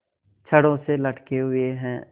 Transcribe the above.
छड़ों से लटके हुए हैं